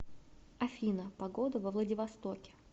афина погода во владивостоке